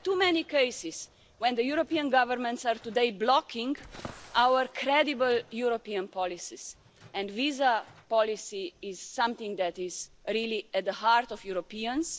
acting. We have too many cases today where the European governments are blocking our credible European policies and visa policy is something that is really at the heart of Europeans.